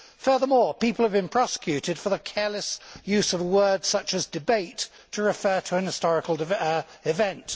Furthermore people have been prosecuted for the careless use of a word such as debate' to refer to a historical event.